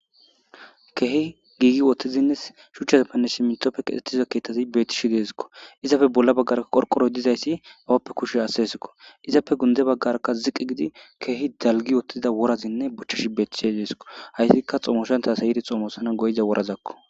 keehi giigi wottizinne shuchchazappane simitopfe kixettiza keethtazi bettishi deesikko izafe bolla baggarka qorqoroy dizayssi awappe kushe asesikko izafe gunde baggaraka ziqi gidi keehi dalgi wottida worazinne bochchishi bettishe deesikko hayssika xoomoshan tas ayiri xoomosana goyiza worazakko